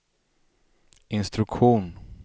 instruktion